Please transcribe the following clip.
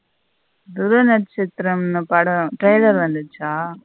துருவனட்சதிரம் படம் trailer வந்துச்ச.